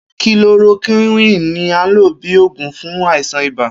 Kilorokíwìn ní a ń lò bíi oògùn fún àìsàn ibà